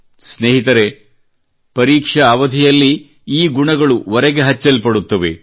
ಸ್ನೇಹಿತರೇ ಪರೀಕ್ಷಾ ಅವಧಿಯಲ್ಲಿ ಈ ಗುಣಗಳು ಒರೆಗೆ ಹಚ್ಚಲ್ಪಡುತ್ತವೆ